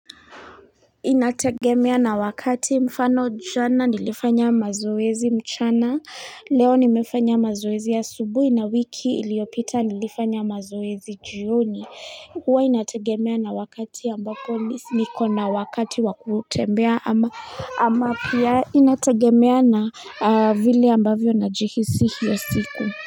Inategemea na wakati mfano jana nilifanya mazoezi mchana leo nimefanya mazoezi ya asubuhi na wiki iliopita nilifanya mazoezi jioni huwa inategemea na wakati ambako niko na wakati wakutembea ama ama pia inategemea na vili ambavyo na jihisihi hiyo siku.